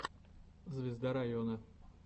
звезда района